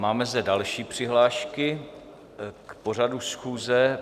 Máme zde další přihlášky k pořadu schůze.